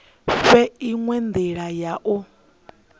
fhe inwe ndila ya u